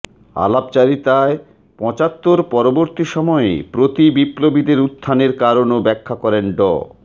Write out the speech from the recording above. আলাপচারিতায় পঁচাত্তর পরবর্তী সময়ে প্রতিবিপ্লবীদের উত্থানের কারণও ব্যাখা করেন ড